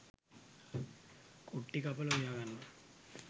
කුට්ටි කපලා උයා ගන්නවා.